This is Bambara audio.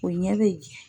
O ɲɛ bɛ